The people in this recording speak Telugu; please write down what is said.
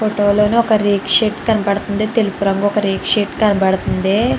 ఫోటో లో ఒక రేకు షెడ్ కనబడుతుంది. తెలుపు రంగు ఒక రేకు షెడ్ కనబడుతుంది.